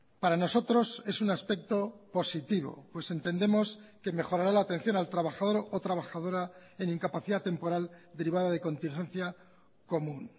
para nosotros es un aspecto positivo pues entendemos que mejorará la atención al trabajador o trabajadora en incapacidad temporal derivada de contingencia común